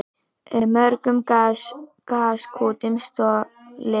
Mörgum gaskútum stolið